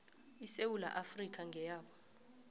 isewula afrika ngeyabo